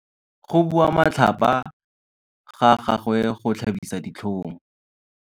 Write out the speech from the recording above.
Go bua matlhapa ga gagwe go tlhabisa ditlhong.